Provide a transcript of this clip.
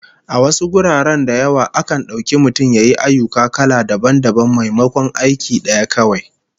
A wasu guraren da yawa, akan dauki mutum ya yi ayyuka kala dabam dabam maimakon aiki daya kawai